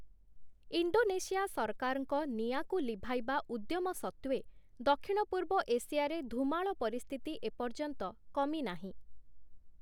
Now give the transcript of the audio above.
Indonesia ସରକାରଙ୍କ ନିଆଁକୁ ଲିଭାଇବା ଉଦ୍ୟମ ସତ୍ତ୍ୱେ, ଦକ୍ଷିଣ ପୂର୍ବ ଏସିଆରେ ଧୂମାଳ ପରିସ୍ଥିତି ଏ ପର୍ଯ୍ୟନ୍ତ କମିନାହିଁ ।